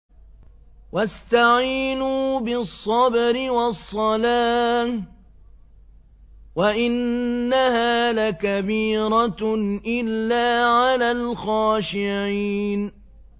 وَاسْتَعِينُوا بِالصَّبْرِ وَالصَّلَاةِ ۚ وَإِنَّهَا لَكَبِيرَةٌ إِلَّا عَلَى الْخَاشِعِينَ